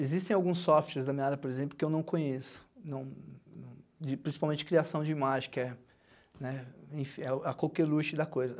Existem alguns softwares da minha área, por exemplo, que eu não conheço, não principalmente criação de imagem, que é, né, enfim, a da coisa.